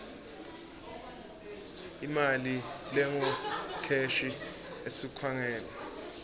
imali lengukheshi esikhungweni